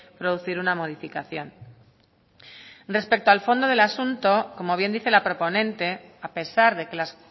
producir una modificación respecto al fondo del asunto como bien dice la proponente a pesar de que las